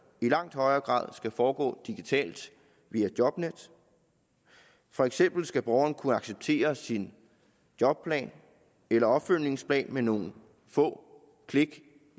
i langt højere grad skal foregå digitalt via jobnet for eksempel skal borgeren kunne acceptere sin jobplan eller opfølgningsplan med nogle få klik